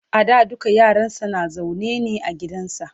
a da dukka yaransa na zaune ne a gidansa